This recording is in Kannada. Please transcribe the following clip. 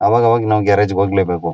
ಅವಾಗ ಅವಾಗ ನಾವು ಗ್ಯಾರೇಜು ಗೆ ಹೋಗ್ಲೇ ಬೇಕು-